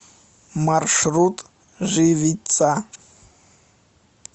маршрут живица